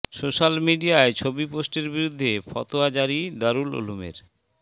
social মিডিয়ায় ছবি পোস্টের বিরুদ্ধে ফতোয়া জারি দারুল উলুমের